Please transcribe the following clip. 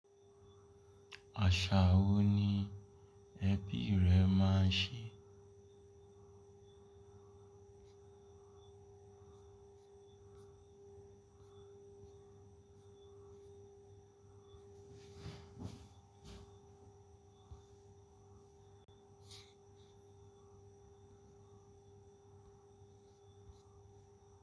Àṣà wo ni ẹbí rẹ máa ń ṣe?